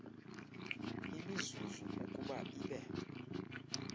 imizuzu ukuba ibe